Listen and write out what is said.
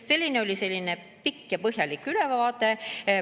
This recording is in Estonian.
Selline oli see pikk ja põhjalik ülevaade.